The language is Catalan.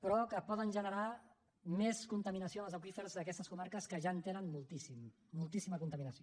però que poden generar més contaminació en els aqüífers d’aquestes comarques que ja en tenen moltíssima moltíssima contaminació